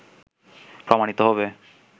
প্রমাণিত হবে